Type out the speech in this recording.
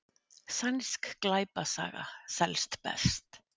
Sænsk glæpasaga selst best